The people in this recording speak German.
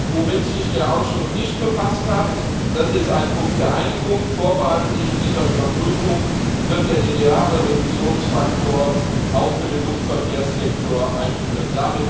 Womit sich der Ausschuss nicht befasst hat, das ist ein Punkt der Einigung Vorbehaltlich dieser Überprüfung wird der lineare Reduktionsfaktor auch für den Luftverkehrssektor eingeführt.